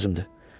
Ciddi sözümdür.